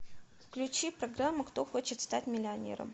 включи программу кто хочет стать миллионером